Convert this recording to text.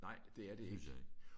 Nej det er det ikke